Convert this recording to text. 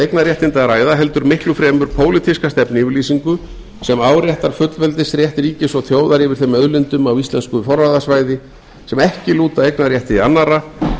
eignarréttindi að ræða heldur miklu fremur pólitíska stefnuyfirlýsingu sem áréttar fullveldisrétt ríkis og þjóðar yfir þeim auðlindum á íslensku forráðasvæði sem ekki lúta eignarrétti annarra